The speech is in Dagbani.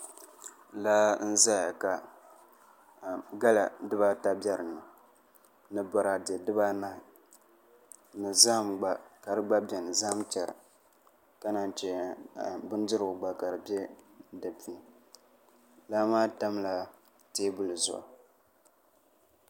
Laa n ʒɛya ka gala dibaata bɛ dinni ni boraadɛ dibaanahi ni zaham gba ka di gba bɛ dinni zaham chɛra ka naan chɛ bindirigu gba ka di gba bɛ di puuni laa maa tamla teebuli zuɣu